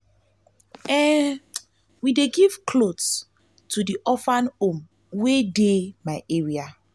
we dey give cloths to di orphage home wey dey my area.